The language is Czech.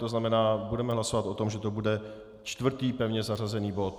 To znamená, budeme hlasovat o tom, že to bude čtvrtý pevně zařazený bod.